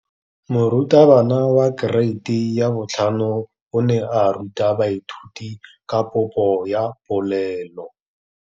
Moratabana wa kereiti ya 5 o ne a ruta baithuti ka popô ya polelô.